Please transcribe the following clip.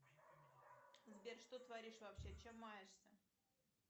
сбер что творишь вообще чем маешься